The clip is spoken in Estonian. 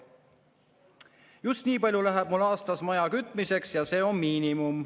Just nii palju läheb mul aastas maja kütmiseks ja see on miinimum.